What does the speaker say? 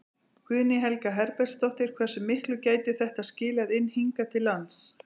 Guðný Helga Herbertsdóttir: Hversu miklu gæti þetta skilað inn hingað til lands?